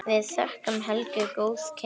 Við þökkum Helgu góð kynni.